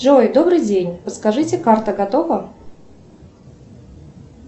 джой добрый день подскажите карта готова